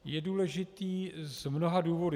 Je důležitý z mnoha důvodů.